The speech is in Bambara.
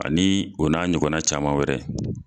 Ani o n'a ɲɔgɔna caman wɛrɛ.